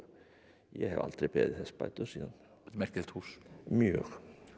ég hef aldrei beðið þess bætur síðan merkilegt hús mjög